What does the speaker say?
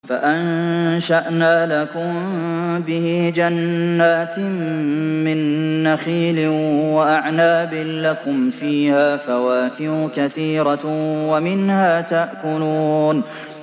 فَأَنشَأْنَا لَكُم بِهِ جَنَّاتٍ مِّن نَّخِيلٍ وَأَعْنَابٍ لَّكُمْ فِيهَا فَوَاكِهُ كَثِيرَةٌ وَمِنْهَا تَأْكُلُونَ